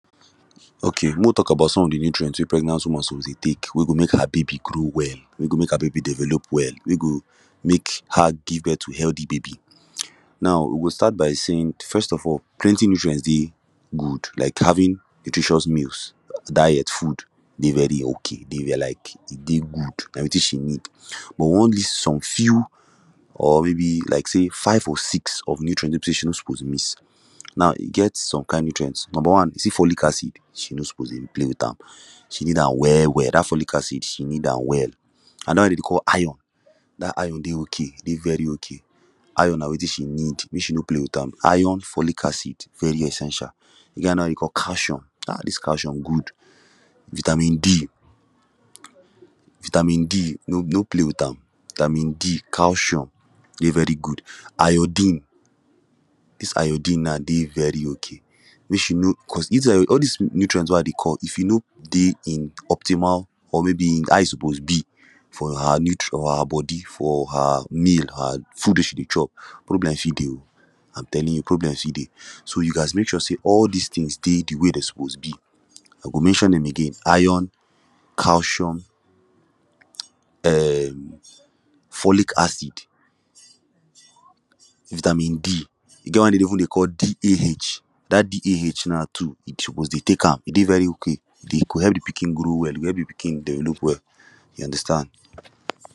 Okay mo we tok about some of de nutrients wey pregnant woman suppose dey tek wey go mke her baby grow well wey go mek her baby develop well wey go mek her give birth to healty baby now we go start by saying first of all plenty nutrients dey good like having nutritious meals diet food dey very okay dey like e dey good na wetin she needs but all dis some few or maybe like say five or six of nutrient wey she no suppose miss now e get some kind nutrients number one you see follic accid she no suppose dey play with am she need am well well dat follic accid she needs am well anoda one wey dem dey call iron dat iron dey okay dey very okay iron na wetin she need mek she no play with am iron follic acid very essential e get anoda one wey we call calcium um dis calcium good vitamin D vitamin D no no Play with am vitamin D calcium dey very good iodine dis iodine now dey very okay mek she no cos dis io all dis nutrients wey I dey call if e no dey in optimal or maybe in how e suppose be for her nut or her body for her meal her food wey she dey chop problem fit dey oo am telling you problem fit dey so you gast mek sure say all dis tins dey de way wey dem suppose be I go mention dem again iron calcium um follic accid vitamin D e get one wey dem dey call DAH that DHA now to e suppose dey tek am e dey very okay e go help de pikin grow well e go help de pikin develop well you understand